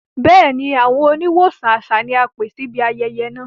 Bẹẹni, awọn oníwọsan àṣà ni a pẹ̀ síbí ayẹyẹ́ náà.